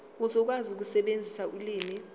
uzokwazi ukusebenzisa ulimi